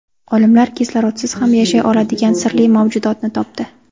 Olimlar kislorodsiz ham yashay oladigan sirli mavjudotni topdi.